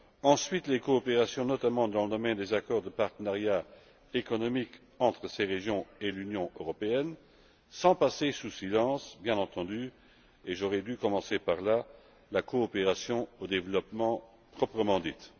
ensuite, notamment, dans le domaine des accords de partenariat économique entre ces régions et l'Union européenne, sans passer sous silence, bien entendu et j'aurais dû commencer par là la coopération au développement proprement dite.